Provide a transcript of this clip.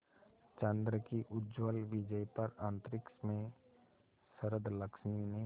चंद्र की उज्ज्वल विजय पर अंतरिक्ष में शरदलक्ष्मी ने